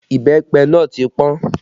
Ìbẹ́pẹ náà ti pọn